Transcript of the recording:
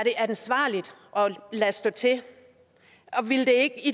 lade stå til og ville